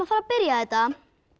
að byrja þetta